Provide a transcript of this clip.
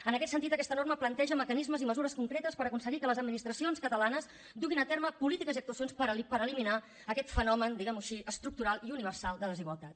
en aquest sentit aquesta norma planteja mecanismes i mesures concretes per aconseguir que les administracions catalanes duguin a terme polítiques i actuacions per eliminar aquest fenomen diguem ho així estructural i universal de desigualtat